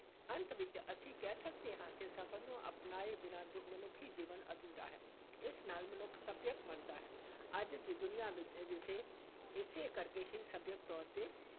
ਅੰਤ ਵਿਚ ਅਸੀਂ ਕਹਿ ਸਕਦੇ ਹਾਂ ਕਿ ਸਫ਼ਰ ਨੂੰ ਅਪਣਾਏ ਬਿਨਾਂ ਮਨੁੱਖੀ ਜੀਵਨ ਅਧੂਰਾ ਹੈ, ਇਸ ਨਾਲ ਮਨੁੱਖ ਸੱਭਿਅਕ ਬਣਦਾ ਹੈ, ਅੱਜ ਦੀ ਦੁਨੀਆ ਇਸੇ ਇਸੇ ਕਰਕੇ ਹੀ ਸਭਿਅਕ ਤੌਰ ‘ਤੇ